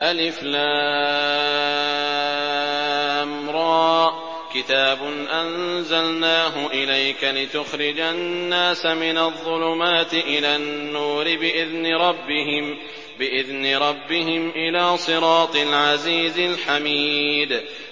الر ۚ كِتَابٌ أَنزَلْنَاهُ إِلَيْكَ لِتُخْرِجَ النَّاسَ مِنَ الظُّلُمَاتِ إِلَى النُّورِ بِإِذْنِ رَبِّهِمْ إِلَىٰ صِرَاطِ الْعَزِيزِ الْحَمِيدِ